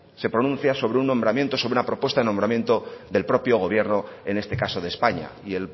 se pronuncia sobre un nombramiento sobre una propuesta de nombramiento del propio gobierno en este caso de españa y